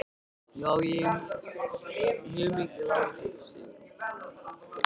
Já, mjög mikil áhrif, segir hún.